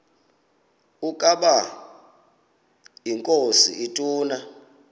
ukaba inkosi ituna